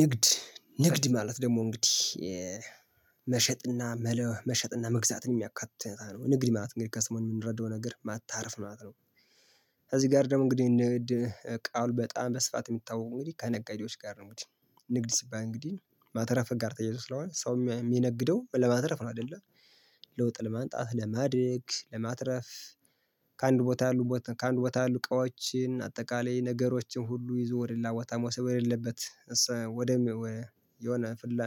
ንግድ ንግድ ማለት ደግሞ እንግዲህ መሸጥና መለወ መሸጥና መግዛትን የሚያካትታ ነው እንግዲህ ማለት እንግዲህ ከሰሙም የምንረዳው ነገር ማታረፍ ማለት ነው። ከዚህ ጋር ደግሞ እንግዲህ ንግድ ቃሉ በጣም በስፋት የሚታወቁ እንግዲህ ከነጋዴዎች ጋር ነው እንግዲህ ንግድ ሲባል እንግዲህ ማተረፍ ጋር ተያይዞ ስለሆነ ሰው የሚ የሚነግደው ለማትረፍ ነው አይደለ ለውጥ ለማምጣት ለማደግ ለማትረፍ ከአንድ ቦታ ያሉ ከአንድ ቦታ ያሉ እቃዎችን አጠቃላይ ነገሮችን ሁሉ ይዞ ወደሌላ ቦታ መውሰድ ወደሌለበት ወደ የሆነ ፍላ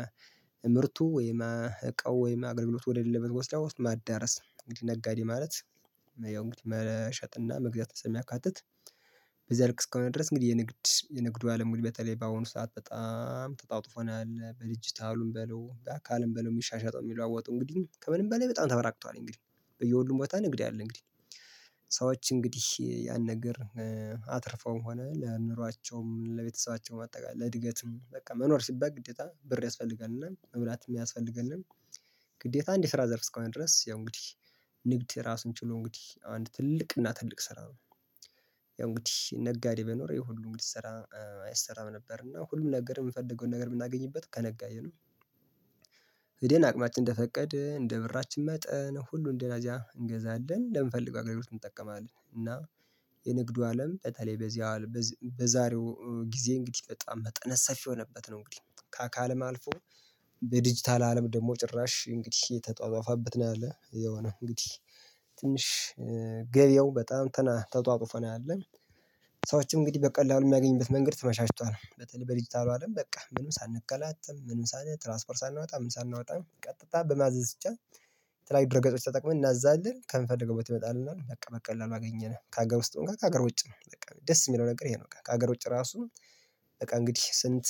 ምርቱ ወይማ እቃው ወይማ አገልግሎት ወደ ሌለበት ወስዳ ውስጥ ማዳረስ እንግዲህ ነጋዴ ማለት ያው እንግዲህ መሸጥና መግዛትም ስለሚያካትት በዚያ ልክ እስከሆነ ድረስ እንግዲህ የንግድ የንግዱ አለም ወይ በተለይ በአሁኑ ሰዓት በጣም ተጣጥፎ ነው ያለ በዲጅታሉም በለው በአካልም በለው የሚሻሸጠው የሚለዋወጡ እንግዲህ ከምንም በላይ በጣም ተበራክቷል እንግዲህ በየሁሉም ቦታ ንግድ አለ እንግዲህ ሰዎች እንግዲህ ያን ነገር አትርፈውም ሆነ ለኑሯቸውም ለቤተሰባቸውም አጠቃላይ ለእድገትም በቃ መኖር ሲባል ግዴታ ብር ያስፈልጋልና መብላት የሚያስፈልገን ግዴታ አንድ የስራ ዘርፍ እስከሆነ ድረስ ያው እንግዲህ ንግድ ራሱን ችሎ እንግዲህ አንድ ትልቅ እና ትልቅ ስራ ነው። ያው እንግዲህ ነጋዴ በኖረ ሁሉ እንግዲህ እንዲሰራ አይሰራም ነበር እና ሁሉም ነገር የምንፈልገውን ነገር የምናገኝበት ከነጋዴነው ሂዴን አቅማችን እንደፈቀደ እንደብራችን መጠን ሁሉን ደላዚያ እንገዛለን ለምንፈልግ አገልግሎት እንጠቀማለን እና የንግዱ አለም በተለይ በዚህ በዛሬው ጊዜ እንግዲህ በጣም መጠነ ሰፊ የሆነበት ነው እንግዲህ ከአካልም አልፎ በዲጂታል አለም ደግሞ ጭራሽ እንግዲህ የተጧጧፋበት ነው ያለ የሆነ እንግዲህ ትንሽ ገበያው በጣም ተና ተጧጡፈ ነው ያለ ሰዎች እንግዲህ በቀላሉ የሚያገኙበት መንገድ ተመቻችቷል በተለይ በዲጂታሉ አለም በቃ ምንም ሳንከላትም ምንም ሳን ትራንስፖርት ሳናወጣ ምንም ሳናወጣም ቀጥታ በማዘዝ ብቻ የተያዩ ድረገጾች ተጠቅመን እናዛለን ከምንፈልገው ቦታ ይመጣልናል በቃ በቀላሉ አገኘነ ከሀገር ውስጥ ጋ ከሀገር ውጪም በቃ ደስ የሚለው ነገር ይሄ ነው ከሀገር ውጪ ራሱ በቃ እንግዲህ ስንት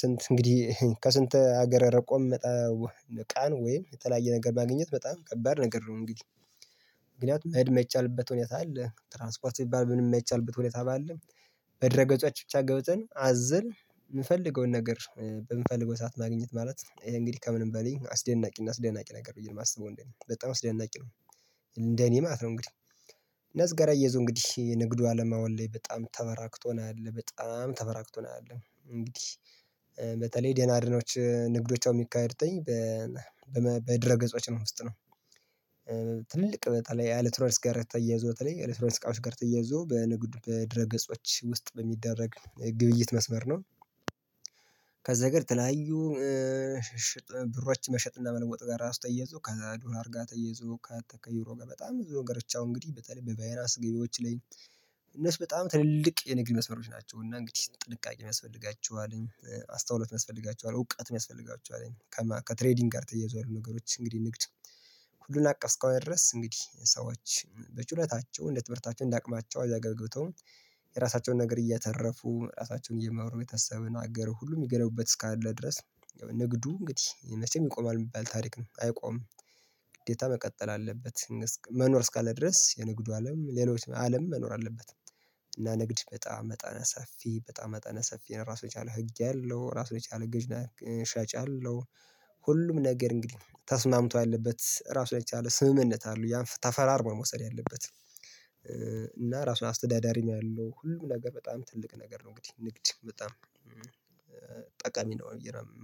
ስንት እንግዲህ ከስንት ሀገር ርቆ ሚመጣውን እቃን ወይም የተለያየ ነገር ማግኘት በጣም ከባድ ነገር ነው እንግዲህ ምክንያቱም መሄድ የማይቻልበት ሁኔታ አለ ትራንስፖርት ቢባል ምንም የማይቻልበት ሁኔታም አለ በድረ ገጾች ብቻ ገብተን አዘን የምፈልገውን ነገር በምፈልገው ሰዓት ማግኘት ማለት ይሄ እንግዲህ ከምንም በላይ አስደናቂ እና አስደናቂ ነገር ነው ብዬ ነው የማስበው እንደኔ በጣም አስደናቂ ነው። እንደኔ ማለት ነው እንግዲህ እነዚህ ጋራ አያይዞ እንግዲህ የንግዱ አለም አሁን ላይ በጣም ተበራክቶ ነው ያለው በጣም ተበራክቶ ነው ያለው እንግዲህ በተለይ ደህና አድኖች ንግዶች የሚካሄዱትኝ በ በመ በድረ ገጾች ነው ውስጥ ነው ትልቅ በተለይ አለትሮኒክስ ጋር ተያይዞ በተለይ ኤሌክትሮኒክስ እቃዎች ጋር ተያይዞ በንግዱ በድረገጾች ውስጥ በሚደረግ ግብይት መስመር ነው። ከዚ ሀገር ተለያዩ ብሮች መሸጥና መለወጥ ጋር ራሱ ተያይዞ ከዶላር ጋር ተያይዞ ከዩሮ ጋር በጣም ብዙ ነገሮች ያው እንግዲህ በተለይ በቫይራስ ገቢዎች ላይ እነሱ በጣም ትልልቅ የንግድ መስመሮች ናቸው። እና እንግዲህ ጥንቃቄ ያስፈልጋቸዋልኝ አስተውሎት ያስፈልጋቸዋል እውቀት ያስፈልጋቸዋልኝ። ከትሬዲንግ ጋር ተያይዘው ያሉ ነገሮች እንግዲህ ንግድ ሁሉን አቀፍ እስከሆነ ድረስ እንግዲህ ሰዎች በችሎታቸው እንደ ትምህርታቸው እንዳቅማቸው እዚያ ገብተው የራሳቸውን ነገር እያተረፉ ራሳቸውን እየመሩ የተሰበውን ነገር ሁሉ የሚገነቡበት እስካለ ድረስ ንግዱ እንግዲህ መቼም ይቆማል የሚባል ታሪክ አይቆምም። ግዴታ መቀጠል አለበት። መኖር እስካለ ድረስ የንግዱ አለም ሌሎች አለም መኖር አለበት። እና ንግድ በጣም መጠነ ሰፊ በጣም መጠነ ሰፊ ነው። ራሱ የቻለ ህግ አለው ራሱ የቻለ ገዥ እና ሻጭ አለው። ሁሉም ነገር እንግዲህ ተስማምቶ ያለበት ራሱን የቻለ ስምምነት አለው። ያን ተፈራርሞ መውሰድ ያለበት። እና ራሱን አስተዳዳሪም ያለው ሁሉም ነገር በጣም ትልቅ ነገር ነው። እንግዲህ ንግድ በጣም ጠቃሚ ነው የምለው